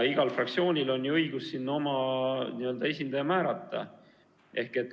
Igal fraktsioonil on õigus oma esindaja määrata.